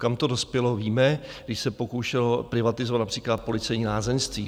Kam to dospělo, víme, když se pokoušelo privatizovat například policejní lázeňství.